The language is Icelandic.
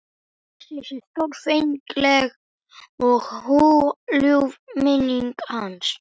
Blessuð sé stórfengleg og hugljúf minning hans.